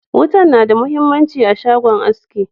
Wutan na da mahimmanci a shagon aski.